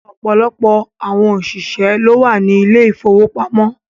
Ọ̀pọ̀lọpọ̀ àwọn òṣìṣẹ́ ló wà ní ilé ìfowópamọ́